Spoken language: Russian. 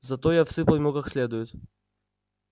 зато я всыпал ему как следует